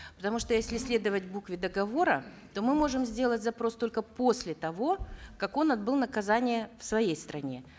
потому что если следовать букве договора то мы можем сделать запрос только после того как он отбыл наказание в своей стране